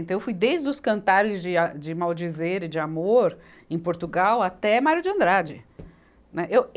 Então, eu fui desde os cantares de a, de maldizer e de Amor, em Portugal, até Mário de Andrade. Né, eu